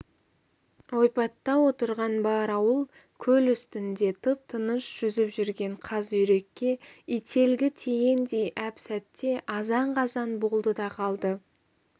ойпатта отырған бар ауыл көл үстінде тып-тыныш жүзіп жүрген қаз-үйрекке ителгі тигендей әп-сәтте азан-қазан болды да қалды